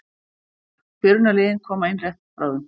Byrjunarliðin koma inn rétt bráðum.